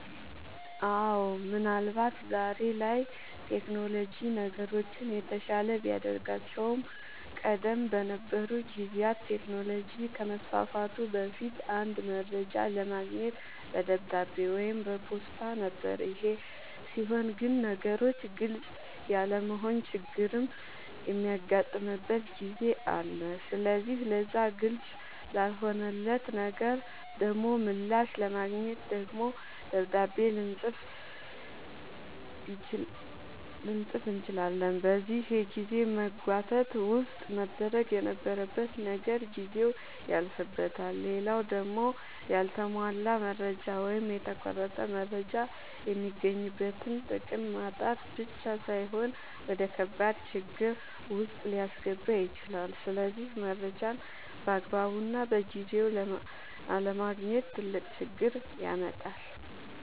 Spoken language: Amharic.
አወ ምን አልባት ዛሬ ላይ ቴክኖሎጅ ነገሮችን የተሻለ ቢያደርጋቸውም ቀደም በነበሩ ጊዜያት ቴክኖሎጅ ከመስፋፋቱ በፊት አንድ መረጃ ለማግኘት በደብዳቤ ወይም በፖስታ ነበር ይሄ ሲሆን ግን ነገሮች ግልፅ ያለመሆን ችግርም የሚያጋጥምበት ጊዜ አለ ስለዚህ ለዛ ግልፅ ላልሆነለት ነገር ደሞ ምላሽ ለማግኘት ደግሞ ደብዳቤ ልፅፍ ይችላል በዚህ የጊዜ መጓተት ውስጥ መደረግ የነበረበት ነገር ጊዜው ያልፍበታል። ሌላው ደሞ ያልተሟላ መረጃ ወይም የተቆረጠ መረጃ የሚገኝበትን ጥቅም ማጣት ብቻ ሳይሆን ወደከባድ ችግር ዉስጥ ሊያስገባ ይችላል ስለዚህ መረጃን ባግባቡና በጊዜው አለማግኘት ትልቅ ችግር ያመጣል